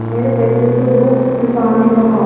मेरे पैसे तो दो किसान ने कहा